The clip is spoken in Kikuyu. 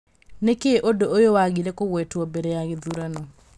Nĩkĩ ũndũ ũyũ wagire kũgwetwo mbere ya gĩthurano?